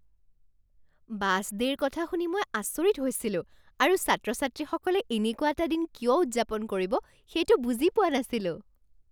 Bus ডে'ৰ কথা শুনি মই আচৰিত হৈছিলোঁ আৰু ছাত্ৰ ছাত্ৰীসকলে এনেকুৱা এটা দিন কিয় উদযাপন কৰিব সেইটো বুজি পোৱা নাছিলোঁ।